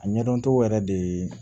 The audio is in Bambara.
A ɲɛdɔncogo yɛrɛ de ye